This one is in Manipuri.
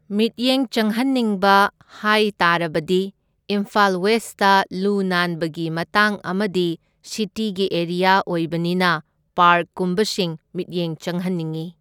ꯃꯤꯠꯌꯦꯡ ꯆꯪꯍꯟꯅꯤꯡꯕ ꯍꯥꯏ ꯇꯥꯔꯕꯗꯤ ꯏꯝꯐꯥꯜ ꯋꯦꯁꯇ ꯂꯨ ꯅꯥꯟꯕꯒꯤ ꯃꯇꯥꯡ ꯑꯃꯗꯤ ꯁꯤꯇꯤꯒꯤ ꯑꯦꯔꯤꯌꯥ ꯑꯣꯏꯕꯅꯤꯅ ꯄꯥꯔꯛꯀꯨꯝꯕꯁꯤꯡ ꯃꯤꯠꯌꯦꯡ ꯆꯪꯍꯟꯅꯤꯡꯢ꯫